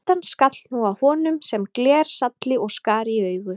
Birtan skall nú á honum sem glersalli og skar í augu.